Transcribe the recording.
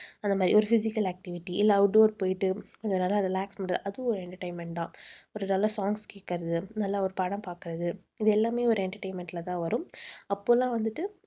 அந்த மாதிரி ஒரு physical activity இல்லை outdoor போயிட்டு அங்க நல்லா relax பண்றது அதுவும் ஒரு entertainment தான். ஒரு நல்ல songs கேக்கறது நல்ல ஒரு படம் பாக்கறது இது எல்லாமே ஒரு entertainment ல தான் வரும். அப்ப எல்லாம் வந்துட்டு